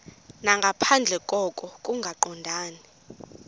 nangaphandle koko kungaqondani